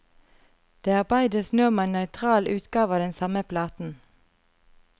Det arbeides nå med en nøytral utgave av den samme platen.